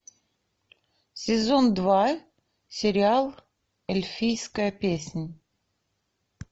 сезон два сериал эльфийская песнь